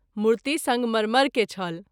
मूर्ति संगरमर के छल।